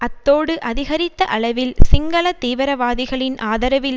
அத்தோடு அதிகரித்த அளவில் சிங்கள தீவிரவாதிகளின் ஆதரவில்